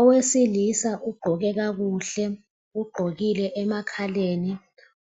Owesilisa ugqokile kakuhle, ugqokile emakhaleni